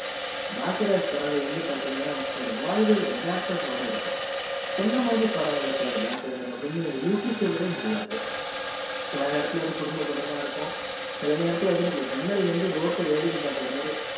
பாக்கியராஜ் படங்கள் வந்து பாத்தீங்கன்னா ஒரு வாழ்வியல் எதார்த்தத்தோடு இருக்கும் என்ன மாதிரி படம் எடுப்பாரு பாக்கியராஜ் அப்டின்னு யூகிக்கவே முடியாது சில நேரத்துல குடும்ப மா இருக்கும் சில நேரத்துல ஜன்னல்ல இருந்து road வேடிக்கை பாக்குறது மாதிரி